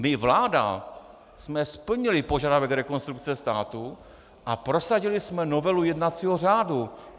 My, vláda, jsme splnili požadavek Rekonstrukce státu a prosadili jsme novelu jednacího řádu.